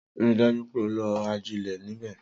Rii daju pe o lo ajile nibẹ!